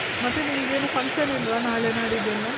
ಮತ್ತೆ ನಿಮ್ಗೇನು function ಇಲ್ವಾ ನಾಳೆ ನಾಡಿದ್ ಎಲ್ಲಾ?